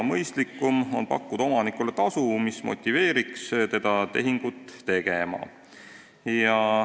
Mõistlikum on pakkuda omanikule tasu, mis motiveeriks teda tehingut tegema.